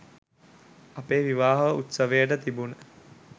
අපේ විවාහ උත්සවයට තිබුණ